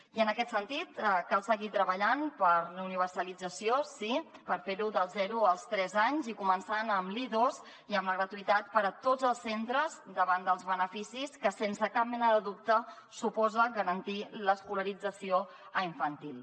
i en aquest sentit cal seguir treballant per la universalització sí per fer ho dels zero als tres anys i començant amb l’i2 i amb la gratuïtat per a tots els centres davant dels beneficis que sense cap mena de dubte suposa garantir l’escolarització a infantil